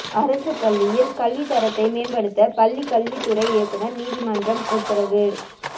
அரசு பள்ளியில் கல்வி தரத்தை மேம்படுத்த பள்ளி கல்வித்துறை இயக்குனா் உயா்நீதிமன்றம் உத்தரவு